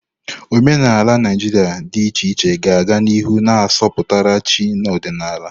Omenala Naijiria dị iche iche ga-aga n'ihu na-asọpụrụ chi na ọdịnala.